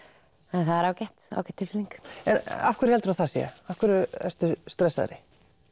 en það er ágæt tilfinning en af hverju heldurðu að það sé af hverju ertu stressaðri